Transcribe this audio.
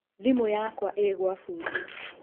Thimũ yakwa ĩĩ gwa bundi.